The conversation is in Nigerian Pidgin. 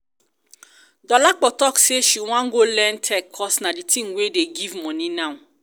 dolapo talk say she wan go learn tech cos na the thing wey dey give money now